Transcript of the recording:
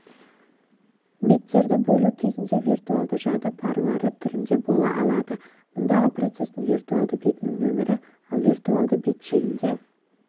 беттерді бөлу кезінде виртуалды жады парлары түрінде бола алады мұндағы процестің виртуалды бетінің нөмірі ал виртуалды бет шегінде